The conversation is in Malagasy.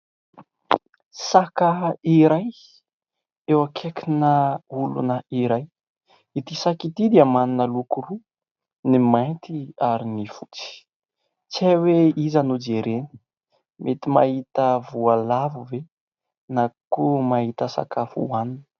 Saka iray eo akaikina olona iray, ity saka ity dia manana loko roa ny mainty ary ny fotsy, tsy ay hoe iza no jereny mety mahita voalavo ve ? na koa mahita sakafo hoanina.